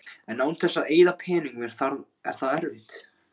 En án þess að eyða pening er það erfitt.